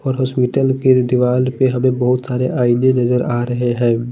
और उस मित्तल की दीवाल पर हमे बहोत सारे आईने नज़र आरहे है।